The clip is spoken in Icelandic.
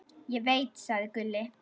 Ég veit, sagði Gulli.